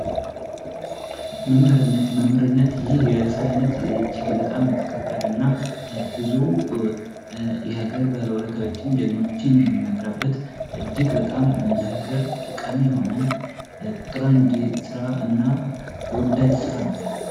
መምህርነት ። መምህርነት ይህ የስራ አይነት እጅግ በጣም የተከበረ እና ብዙ የሀገር ባለውለታዎችን ጀግኖችን የምናፈራበት እጅግ በጣም ለሀገር ጠቃሚ የሆነ ቁጥር አንድ ስራ እና ተወዳጅ ስራ ነው ።